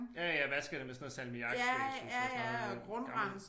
Ja jeg vaskede det med sådan noget salmiakspray synes jeg sådan noget øh gammelt